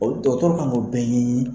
Olu dɔgɔtɔrɔ kan ka k'olu bɛɛ ɲɛɲinin.